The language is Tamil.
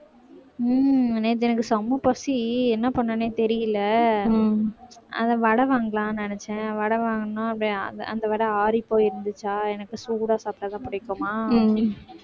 உம் நேத்து எனக்கு செம பசி என்ன பண்றதுன்னே தெரியலே அந்த வடை வாங்கலாம்னு நினைச்சேன் வடை வாங்குனோம் அந்த வடை ஆறிப்போய் இருந்துச்சா எனக்கு சூடா சாப்பிட்டாதான் பிடிக்குமா